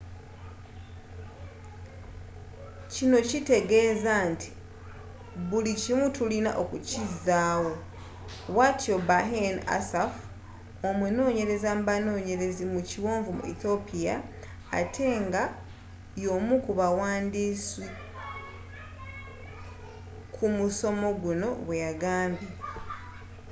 kino kiteegeza nti buli kimu tulina okukizaawo bwatyo berhane asfaw omunonyereza mu banonyerezi mu kiwonvu mu ethiopia ate nga yomukubawandiisi kumusomo guno bweyagambye